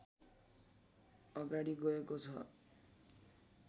अगाडि गएको छ